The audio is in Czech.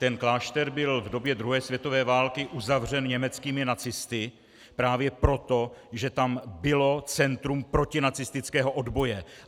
Ten klášter byl v době druhé světové války uzavřen německými nacisty právě proto, že tam bylo centrum protinacistického odboje.